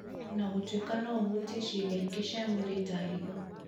o na gũtuĩka no ũhutie ciĩga ingĩ cia mwĩrĩ ta higo,